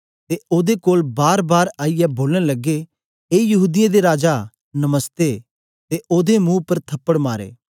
ते ओदे कोल बारबार आईयै बोलन लग्गे ए यहूदीयें दे राजा नमस्ते ते ओदे मुं उपर थप्पड़ मारे